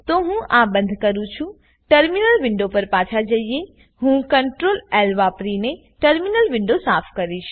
તો હું આ બંદ કરુંટર્મિનલ વિન્ડો પર પાછા જઈએહું CTRLLવાપરીને ટર્મિનલ વિન્ડો સાફ કરીશ